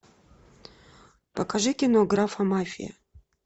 покажи кино графомафия